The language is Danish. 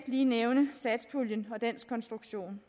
lige nævne satspuljen og dens konstruktion